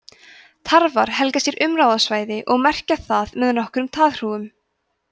tarfar helga sér umráðasvæði og merkja það með nokkrum taðhrúgum